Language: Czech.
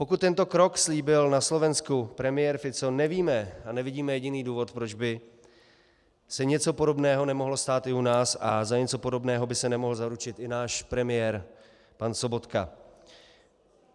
Pokud tento krok slíbil na Slovensku premiér Fico, nevíme a nevidíme jediný důvod, proč by se něco podobného nemohlo stát i u nás a za něco podobného by se nemohl zaručit i náš premiér pan Sobotka.